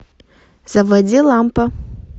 заводи лампа